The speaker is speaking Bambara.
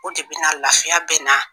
O de bɛna lafiya bɛ na